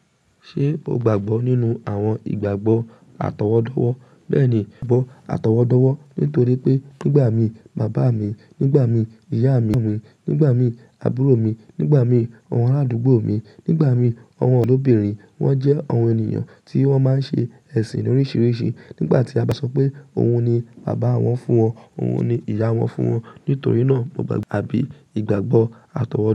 Ṣé o gbàgbọ́ nínú àwọn ìgbàgbọ́ àtọwọ́dọ́wọ́? Bẹ́ẹ̀ni, mo gbàgbọ́ àtọwọ́dọ́wọ́ nítorí pé nígbà mi, bàbá mi, nígbà mii, ìyá mi, nígbà mii, àbúrò mi, nígbà mii, àwọn aládùúgbò mi, nígbà mii, àwọn odobìnrin, wọ́n jẹ́ àwọn ènìyàn tí wọ́n máa ń ṣe ẹ̀sìn oríṣiríṣi nígbà tí a bá sọ pé òhun ni bàbá wọn fún wọn, òhun ni ìyá wọn fún wọn. Nítorí náà, mo gbàgbọ́ àbí ìgbàgbọ́ àtọwọ́